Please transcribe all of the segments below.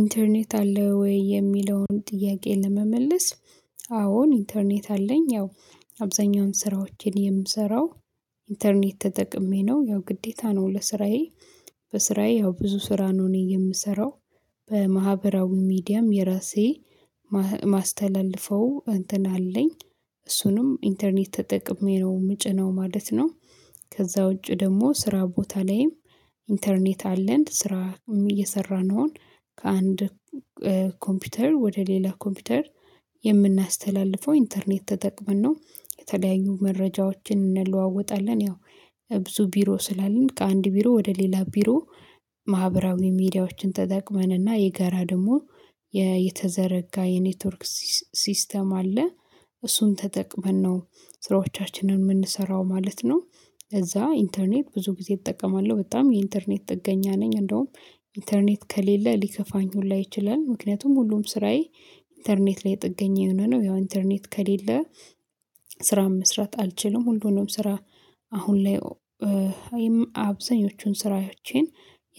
ኢንተርኔት አለ ወይ የሚለውን ጥያቄ ለመመለስ? አዎን ኢንተርኔት አለኝ ያው አብዛኛውን ስራዎችን የምሰራው ኢንተርኔት ተጠቅሜ ነው ያው ግዴታ ነው ለስራዬ። በስራዬ ያው ብዙ ስራ ነው እኔ የምሰራው በማህበራዊ ሚዲያም የራሴ ማስተላለፈው እንትን አለኝ እሱንም ኢንተርኔት ተጠቅሜ ነው የምጭነው ማለት ነው። ከዛ ውጪ ደግሞ ስራ ቦታ ላይም ኢንተርኔት አለን ስራ እየሰራን ነው። ከአንድ ኮምፒውተር ወደ ሌላ ኮምፒውተር የምናስተላልፈው ኢንተርኔት ተጠቅመን ነው የተለያዩ መረጃዎችን እንለዋወጣለን። ያው ብዙ ቢሮ ስላለን ከአንድ ቢሮ ወደ ሌላ ቢሮ ማህበራዊ ሚዲያዎችን ተጠቅመን እና የጋራ ደግሞ የተዘረጋ የኔትወርክ ሲስተም አለ እሱን ተጠቅመን ነው ስራዎቻችንን የምንሰራው ማለት ነው። ከዛ ኢንተርኔት ብዙ ጊዜ እጠቀማለሁ በጣም የኢንተርኔት ጥገኛ ነኝ እንደውም ኢንተርኔት ከሌለ ሊከፋኝ ሁላ ይችላል። ምክንያቱም ሁሉም ስራዬ ኢንተርኔት ላይ ጥገኛ የሆነ ነው ያው ኢንተርኔት ከሌለ ስራ መስራት አልችልም። ሁሉንም ስራ አሁን ላይ አብዛኞቹን ስራዎቼን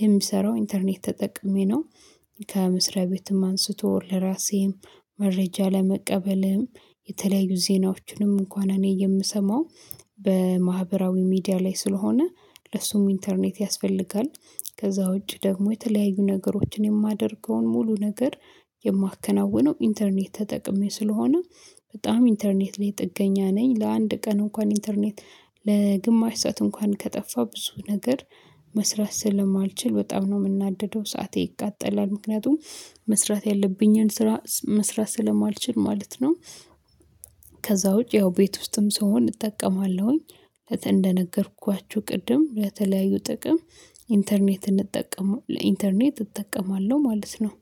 የሚሰራው ኢንተርኔት ተጠቅሜ ነው። ከመስሪያ ቤትም አንስቶ ለራሴም መረጃ ለመቀበልም የተለያዩ ዜናዎችንም እንኳን እኔ የምሰማው በማህበራዊ ሚዲያ ላይ ስለሆነ ለሱም ኢንተርኔት ያስፈልጋል። ከዛ ውጪ ደግሞ የተለያዩ ነገሮችን የማደርገውን ሙሉ ነገር የማከናውነው ኢንተርኔት ተጠቅሜ ስለሆነ በጣም ኢንተርኔት ላይ ጥገኛ ነኝ። ለአንድ ቀን እንኳን ኢንተርኔት ለግማሽ ሰዓት እንኳን ከጠፋ ብዙ ነገር መስራት ስለማልችል በጣም ነው የምናደደው ሰዓቴ ይቃጠላል ምክንያቱም መስራት ያለብኝን ስራ መስራት ስለማልችል ማለት ነው። ከዛ ውጪ ያው ቤት ውስጥም ስሆን እጠቀማለሁኝ እንደነገርኳችሁ ቅድም በተለያዩ ጥቅም ኢንተርኔት እንጠቀም ለኢንተርኔት እጠቀማለሁ ማለት ነው።